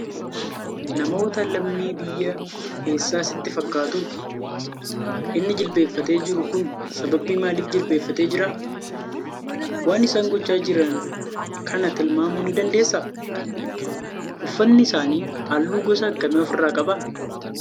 Namoota lammii biyya eessaa sitti fakkaatu? Inni jilbeenfatee jiru kun sababii maaliif jilbeenfatee jira? Waan isaan gochaa jiran kana tilmaamuu ni dandeessaa? Uffatni isaanii halluu gosa akkamii of irraa qaba?